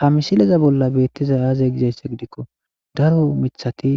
Ha misilezan bolla betizays azegiko daro mithati